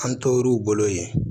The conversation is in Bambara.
An t'olu bolo yen